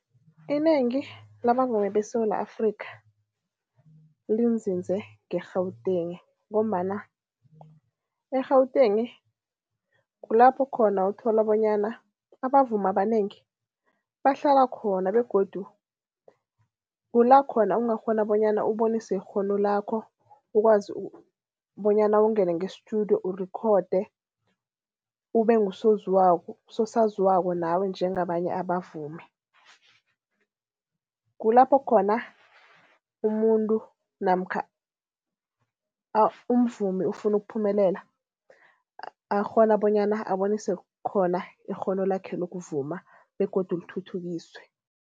Inengi labavumi beSewula Afrika linzinze nge-Gauteng ngombana e-Gauteng kulapho khona uthola bonyana abavumi abanengi bahlala khona begodu kula khona ungakghona bonyana ubonise ikghono lakho, ukwazi bonyana ungene nge-studio, urikhode, ube ngusoziwako sosaziwako nawe njengabanye abavumi. Kulapho khona umuntu namkha umvumi ufuna ukuphumelela, akghona bonyana abonise khona ikghono lakhe lokuvuma begodu lithuthukiswe.